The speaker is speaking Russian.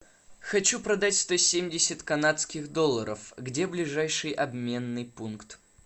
хочу продать сто семьдесят канадских долларов где ближайший обменный пункт